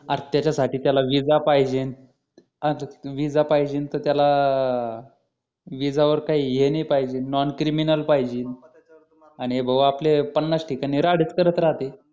अरे त्याच्यासाठी त्याला विजा पाहिजे आणि विजा पाहिजे तर त्याला विजावर काही हे नाही पाहिजे नॉनक्रिमिनल पाहिजे आणि भाऊ आपले पन्नास ठिकाणी राडेच करत राहते